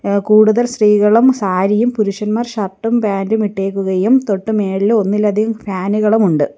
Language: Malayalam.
ഏഹ് കൂടുതൽ സ്ത്രീകളും സാരിയും പുരുഷന്മാർ ഷർട്ടും പാന്റും മിട്ടേക്കുകയും തൊട്ടു മേളില് ഒന്നിലധികം ഫാനുകളുമുണ്ട് .